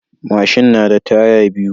Mashin nada taya biyu